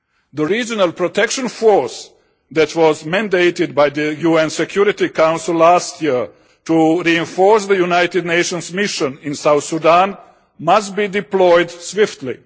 The regional protection force that was mandated by the UN Security Council last year to reinforce the United Nations mission in South Sudan must be deployed swiftly.